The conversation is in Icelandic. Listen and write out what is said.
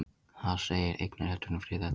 Þar segir: Eignarrétturinn er friðhelgur.